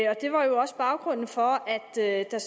var jo også baggrunden for at der